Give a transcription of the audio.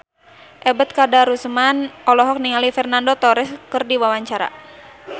Ebet Kadarusman olohok ningali Fernando Torres keur diwawancara